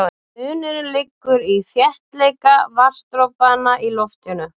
Munurinn liggur í þéttleika vatnsdropanna í loftinu.